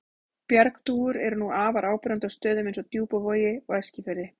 Bjargdúfur eru nú afar áberandi á stöðum eins og Djúpavogi og Eskifirði.